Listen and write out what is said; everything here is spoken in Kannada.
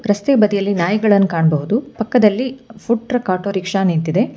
ರಸ್ತೆ ಬದಿಯಲ್ಲಿ ನಾಯಿಗಳನ್ ಕಾಣಬಹುದು ಪಕ್ಕದಲ್ಲಿ ಫುಡ್ ಟ್ರಕ್ ಆಟೋರಿಕ್ಷ ನಿಂತಿದೆ.